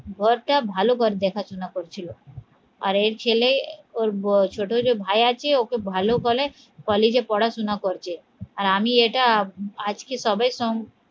ঘরটা ভালো ঘর দেখাশোনা করছিল আর এর ছেলে ওর ছোট যে ভাই আছে, ওকে ভালো বলে কলেজে পড়াশোনা করছে আর আমি এটা আজকে সবাই সং